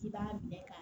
K'i b'a minɛ ka